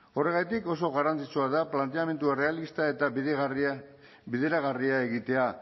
horregatik oso garrantzitsua da planteamendu errealista eta bideragarria egitea